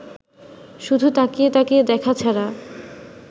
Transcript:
শুধু তাকিয়ে তাকিয়ে দেখা ছাড়া